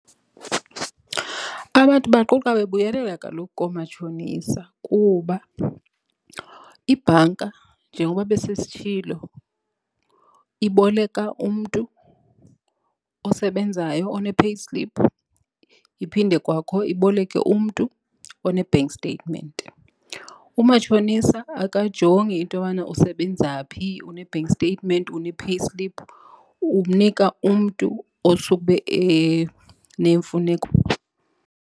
Abantu baquqa bebuyelela kaloku koomatshonisa kuba ibhanka njengokuba bese sesitshilo iboleka umntu osebenzayo one-payslip iphinde kwakho iboleke umntu one-bank statement. Umatshonisa akajongi into yobana usebenza phi, une-bank statement, une-payslip. Unika umntu osuke ebe nemfuneko.